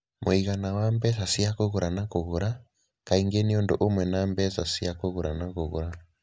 Mũigana wa mbeca cia kũgũra na kũgũra: Kaingĩ nĩ ũndũ ũmwe na mbeca cia kũgũra na kũgũra